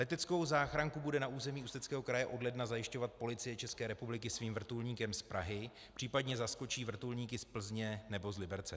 Leteckou záchranku bude na území Ústeckého kraje od ledna zajišťovat Policie České republiky svým vrtulníkem z Prahy, případně zaskočí vrtulníky z Plzně nebo z Liberce.